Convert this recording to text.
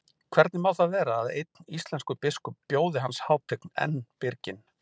Hvernig má það vera að einn íslenskur biskup bjóði hans hátign enn byrginn?